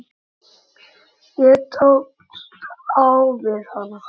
Ég tókst á við hana.